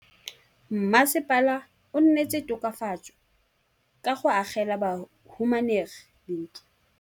Mmasepala o neetse tokafatsô ka go agela bahumanegi dintlo.